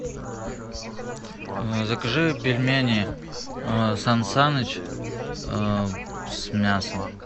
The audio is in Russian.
закажи пельмени сан саныч с мясом